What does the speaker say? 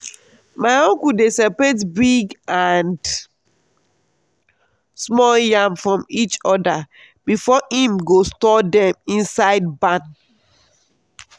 my uncle dey separate big and small yam from each other before him go store dem inside barn.